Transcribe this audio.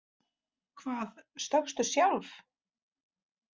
Hvað, stökkstu sjálf?